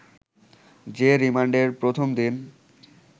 যে রিমান্ডের প্রথম দিন